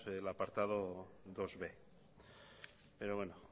el apartado bib pero bueno